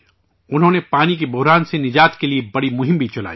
انہوں نے پانی کے بحران سے نجات کے لئے بڑی مہم بھی چلائیں